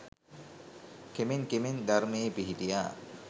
කෙමෙන් කෙමෙන් ධර්මයේ පිහිටියා